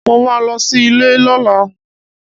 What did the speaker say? Mo ma lọ sí ilé lọla.